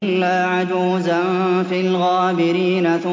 إِلَّا عَجُوزًا فِي الْغَابِرِينَ